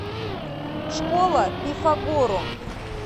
школа пифагорум